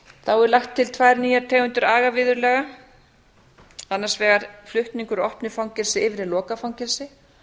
þá er lagt til tvær nýjar tegundir agaviðurlaga annars vegar flutningur úr opnu fangelsi yfir í lokað fangelsi